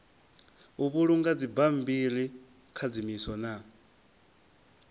u vhulunga dzibammbiri khadzimiso na